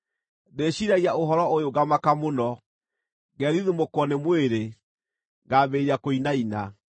Ndĩciiragia ũhoro ũyũ ngamaka mũno; ngethithimũkwo nĩ mwĩrĩ, ngambĩrĩria kũinaina.